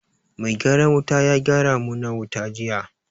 Mai gyaran wuta ya gyara mu na wuta juya